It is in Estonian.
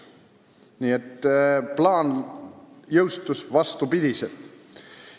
" Nii et plaan viidi ellu vastupidiselt.